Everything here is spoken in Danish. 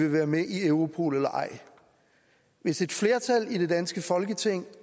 vil være med i europol eller ej hvis et flertal i det danske folketing